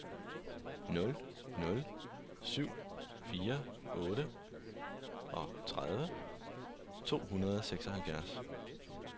nul nul syv fire otteogtredive to hundrede og seksoghalvfjerds